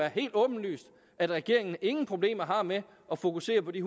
helt åbenlyst at regeringen ingen problemer har med at fokusere på de